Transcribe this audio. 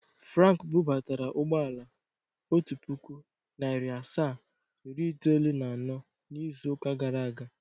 Frank bụbatara ụgbọala, otu pụkụ, narị asaa, iri itoolu na anọ n'ịzụ ụka gara aga.